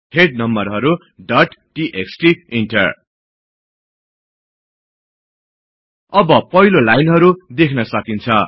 head नम्बरहरु dot TXT enter अब पहिलो लाइनहरु देख्न सकिन्छ